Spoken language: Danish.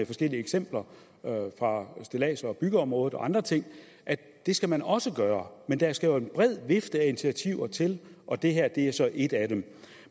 forskellige eksempler fra stillads og byggeområdet og andre ting det skal man også gøre men der skal en bred vifte af initiativer til og det her er så et af dem